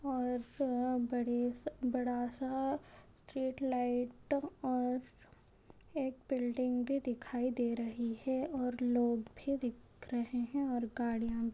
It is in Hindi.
और स बड़े बड़ासा एक स्ट्रीट लाइट और एक बिल्डिंग भी दिखाई दे रही है और लोग भी दिख रहे है और गाड़िया भी --